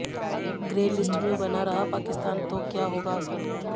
grey list में बना रहा पाकिस्तान तो क्या होगा असर